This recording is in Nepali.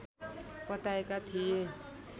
बताएका थिए